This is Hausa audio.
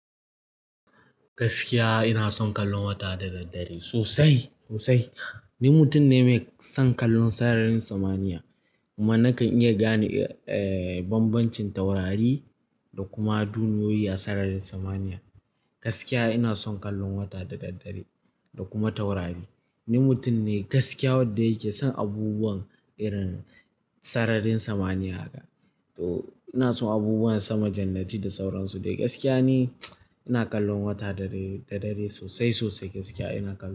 Gaskiya ina son kallon wata da daddare sosai, sosai. Ni mutum ne mai son kallon sararin samaniya kuma nakan iya gane, eh, bambancin taurari da kuma duniyoyi a sararin samaniya. Gaskiya ina son kallon wata da daddare da kuma taurari. Ni mutum ne gaskiya wadda yake son abubuwan irin sararin samaniya. To ina son abubuwan sama, jannati da sauransu. Dai gaskiya ne ina kallon wata dare da dare sosai, sosai gaskiya ina kalla.